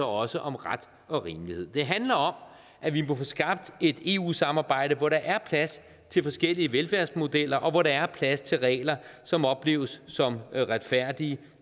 også om ret og rimelighed det handler om at vi må have skabt et eu samarbejde hvor der er plads til forskellige velfærdsmodeller og hvor der er plads til regler som opleves som retfærdige